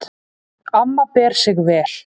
Amma ber sig vel.